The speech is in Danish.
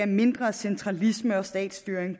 mindre centralisme og statsstyring